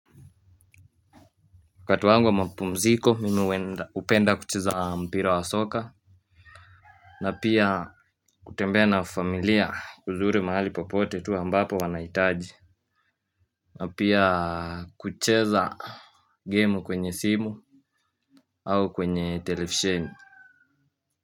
Wakati wangu wa mapumziko mimi uenda upenda kucheza mpira wa soka. Na pia kutembea na familia uzuri mahali popote tu ambapo wanaitaji. Na pia kucheza gemu kwenye simu. Au kwenye telefsheni.